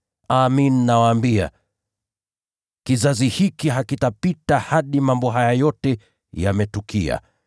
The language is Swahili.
Amin, nawaambia, kizazi hiki hakitapita hadi mambo haya yote yawe yametimia.